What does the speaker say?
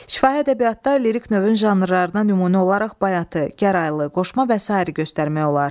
Şifahi ədəbiyyatda lirik növün janrlarına nümunə olaraq bayatı, gəraylı, qoşma və sair göstərmək olar.